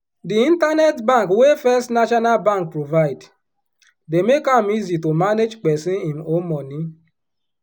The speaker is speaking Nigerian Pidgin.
di internet bank wey first national bank provide dey make am easy to manage peson im own moni.